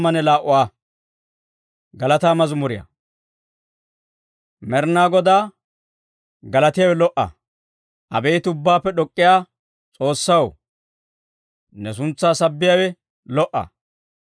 Med'inaa Godaa galatiyaawe lo"a. Abeet Ubbaappe D'ok'k'iyaa S'oossaw, ne suntsaa sabbiyaawe lo"a.